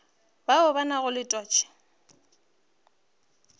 bao ba nago le twatši